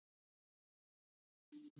Hann efnir loforð sitt.